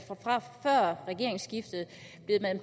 før regeringsskiftet